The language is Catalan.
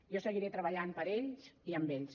jo seguiré treballant per ells i amb ells